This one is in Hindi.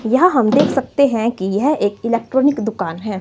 यह हम देख सकते हैं कि यह एक इलेक्ट्रॉनिक दुकान है।